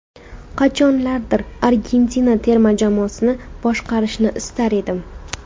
Qachonlardir Argentina terma jamoasini boshqarishni istar edim.